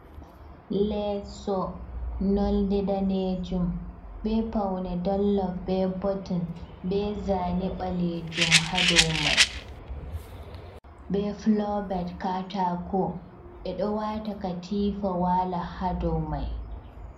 Leeso, nolde daneejum, bee paune dollof bee botun bee zaane ɓaleejum ha daw mai. Bee fuloobet kataako, ɓe ɗo wa'ata katiifa waala hadaw mai.